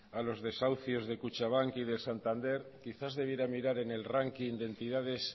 a los desahucios de kutxabank y de santander quizás debiera mirar en el ranking de entidades